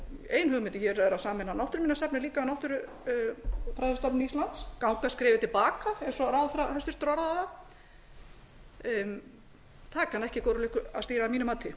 ein hugmynd er að sameina náttúruminjasafnið líka náttúrufræðistofnun íslands ganga skrefið til baka eins og ráðherra hæstvirtrar orðaði það það kann ekki góðri lukku að stýra að mínu mati